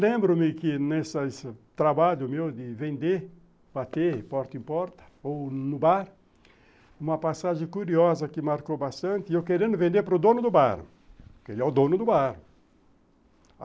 Lembro-me que nessa nesse trabalho meu de vender, bater porta em porta, ou no bar, uma passagem curiosa que marcou bastante, eu querendo vender para o dono do bar, porque ele é o dono do bar.